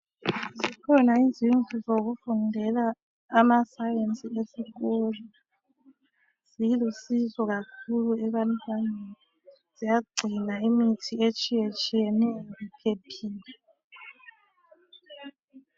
Kukhona izindlu zokufundela amaScience ezikolo. Zilusizo kakhulu ebantwaneni. Ziyagcina imithi etshiyetshiyeneyo, iphephile.